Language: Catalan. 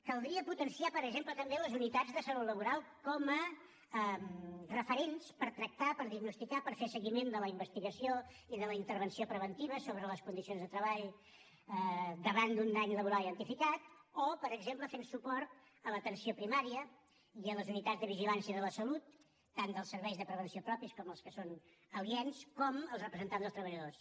caldria potenciar per exemple també les unitats de salut laboral com a referents per tractar per diagnosticar per fer seguiment de la investigació i de la intervenció preventiva sobre les condicions de treball davant d’un dany laboral identificat o per exemple fent suport a l’atenció primària i a les unitats de vigilància de la salut tant dels serveis de prevenció propis com els que són aliens com els representants dels treballadors